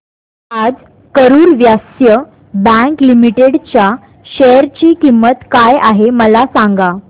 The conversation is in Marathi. आज करूर व्यास्य बँक लिमिटेड च्या शेअर ची किंमत काय आहे मला सांगा